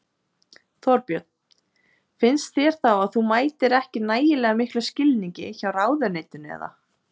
Þorbjörn: Finnst þér þá að þú mætir ekki nægilega miklum skilningi hjá ráðuneytinu eða?